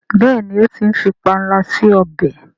béèni o tí ń fí panla sí ọbẹ.